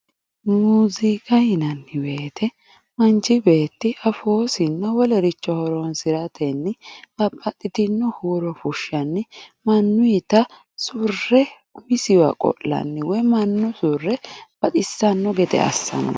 muuziiqa yinanni woyiite manchi beetti afoosinna wolericho horonsiratenni babbaxxitinno huuro fushshannni mannuyiita surre isiwa qo'lanno woyi mannuyiita surre baxissanno gede assanno